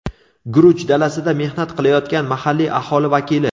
Guruch dalasida mehnat qilayotgan mahalliy aholi vakili.